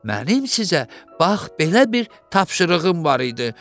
Mənim sizə bax belə bir tapşırığım var idi.